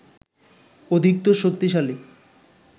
অধিকতর শক্তিশালী